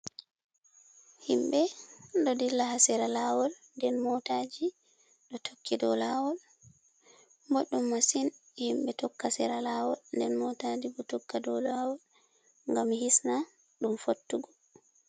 Himɓe ɗo dilla ha sera laawol, nden mootaaji ɗo tokki dow laawol, boɗɗum masin himɓe tokka sera laawol nden mootaaji bo tokka dow lawol, ngam hisna ɗum fottugo.